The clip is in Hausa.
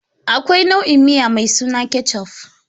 Akwai nau'i miya mai suna Ketchuf.